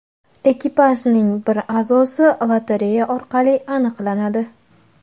Ekipajning bir a’zosi lotereya orqali aniqlanadi.